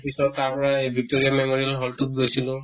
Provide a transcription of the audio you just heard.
পিছত তাৰ পৰা এই victoria memorial hall টোত গৈছিলো